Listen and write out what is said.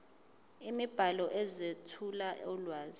imibhalo ezethula ulwazi